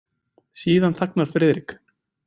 Síðan þagnar Friðrik.